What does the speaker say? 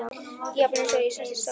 Jafna mig svo og sest í stól.